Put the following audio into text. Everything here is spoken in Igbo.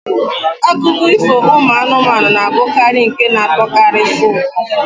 Akụkọ ifo ụmụ anụmanụ na-abụkarị nke na-atọkarisi ụtọ.